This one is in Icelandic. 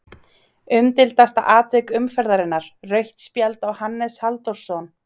Umdeildasta atvik umferðarinnar: Rautt spjald á Hannes Halldórsson?